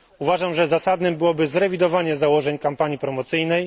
Uważam, że zasadnym byłoby zrewidowanie założeń kampanii promocyjnej.